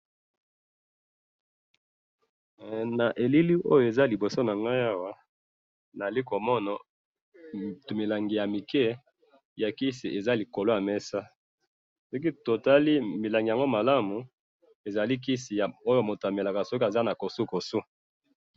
he na elili oyo ezali na liboso nanga tozali komona tu minlangi ya muke ezali na likolo ya mesa soki totali malamu ezali kisi moto oyo amelaka soki azali na kosokoso.